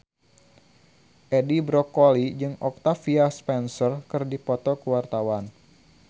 Edi Brokoli jeung Octavia Spencer keur dipoto ku wartawan